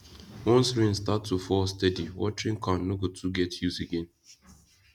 once rain start to fall steady watering can no go too get use again